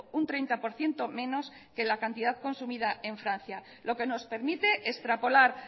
un treinta por ciento menos que la cantidad consumida en francia lo que nos permite extrapolar